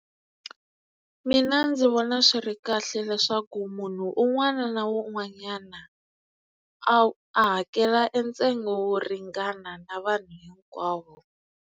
Mina ndzi vona swi ri kahle leswaku munhu un'wana na un'wanyana a a hakela e ntsengo wo ringana na vanhu hinkwavo.